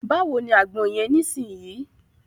Báwo ni àgbọn yẹn nisinyi?